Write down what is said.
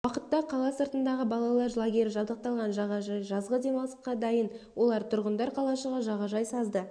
уақытта қала сыртындағы балалар лагері жабдықталған жағажай жазғы демалысқа дайын олар тұрғындар қалашығы жағажай сазды